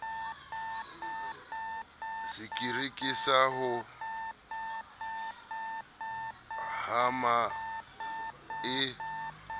sekiri sa ho hama e